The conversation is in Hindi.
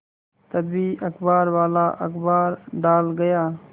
तभी अखबारवाला अखबार डाल गया